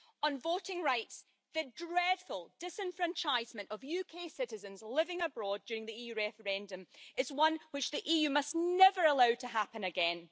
On voting rights, the dreadful disenfranchisement of UK citizens living abroad during the EU referendum is one which the EU must never allow to happen again.